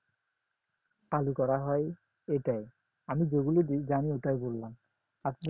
আলু করা হয় ওটাই আমি যেগুলো জানি ওটাই বললাম আপনি